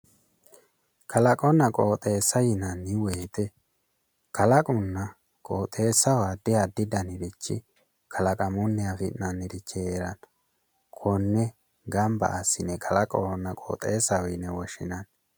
Kalaqonna qooxeessa yinanni woyite kalaqonna qooxeessaho addi addi danirichi kalaqamunni afi'nannirichi heeranno konne gamba assine kalaqohonna qooxeessaho yine woshinanni